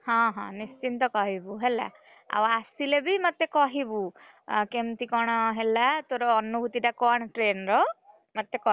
ହଁ ହଁ ନିଶ୍ଚିନ୍ତ କହିବୁ ହେଲା, ଆଉ ଆସିଲେ ବି ମତେ କହିବୁ, କେମିତି କଣ ହେଲା ତୋର ଅନୁଭୂତି ଟାକଣ train ର, ମତେ କହିବୁ?